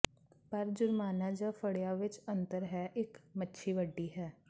ਪਰ ਜੁਰਮਾਨਾ ਜ ਫੜਿਆ ਵਿੱਚ ਅੰਤਰ ਹੈ ਇੱਕ ਮੱਛੀ ਵੱਡੀ ਹੈ